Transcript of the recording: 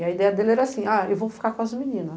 E a ideia dele era assim, ah eu vou ficar com as meninas.